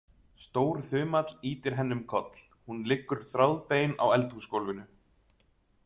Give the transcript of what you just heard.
Stór þumall ýtir henni um koll, hún liggur þráðbein á eldhúsgólfinu.